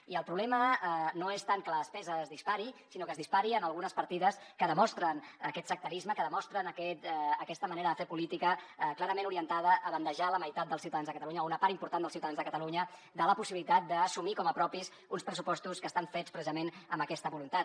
i el problema no és tant que la despesa es dispari sinó que es dispari en algunes partides que demostren aquest sectarisme que demostren aquesta manera de fer política clarament orientada a bandejar la meitat dels ciutadans de catalunya o una part important dels ciutadans de catalunya de la possibilitat d’assumir com a propis uns pressupostos que estan fets precisament amb aquesta voluntat